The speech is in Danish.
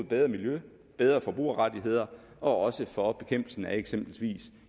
bedre miljø bedre forbrugerrettigheder og også for bekæmpelsen af eksempelvis